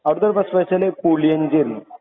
അവിടെത്തെ സ്പെഷ്യല് പുളിയിഞ്ചി ആയിരുന്നു.